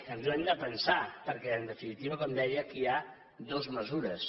ens ho hem de pensar perquè en definitiva com deia aquí hi ha dues mesures